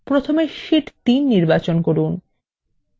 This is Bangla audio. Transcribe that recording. প্রথমে শিট 3 নির্বাচন করুন